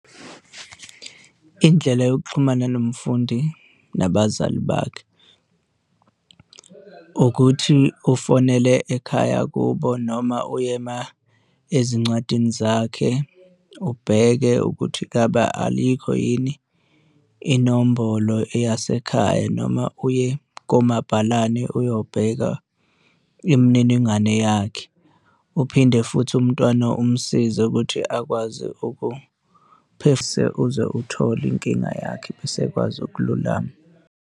Indlela yokuxhumana nomfundi nabazali bakhe ukuthi ufonele ekhaya kubo noma uye ezincwadini zakhe ubheke ukuthi ngaba alikho yini inombolo eyasekhaya, noma uye komabhalane uyobheka imininingwane yakhe. Uphinde futhi umntwana umsize ukuthi akwazi ukuphasa uze uthole inkinga yakhe bese ekwazi ukululama.